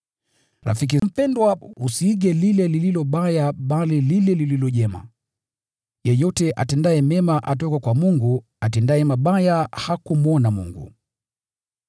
Rafiki mpendwa, usiige lile lililo baya bali lile lililo jema. Yeyote atendaye mema atoka kwa Mungu, bali atendaye mabaya hajamwona Mungu.